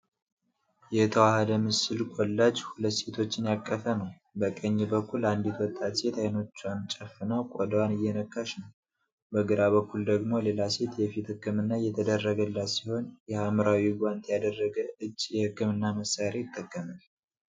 የተዋሃደ ምስል (ኮላጅ) ሁለት ሴቶችን ያቀፈ ነው። በቀኝ በኩል አንዲት ወጣት ሴት አይኖቿን ጨፍና ቆዳዋን እየነካች ነው። በግራ በኩል ደግሞ ሌላ ሴት የፊት ሕክምና እየተደረገላት ሲሆን፣ የሐምራዊ ጓንት ያደረገ እጅ የሕክምና መሣሪያ ይጠቀማል።